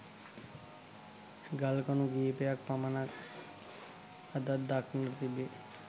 ගල් කණු කීපයක් පමණක් අදත් දක්නට තිබේ.